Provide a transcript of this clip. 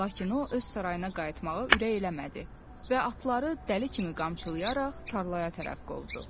Lakin o, öz sarayına qayıtmağı ürək eləmədi və atları dəli kimi qamçılayaraq tarlaya tərəf qovdu.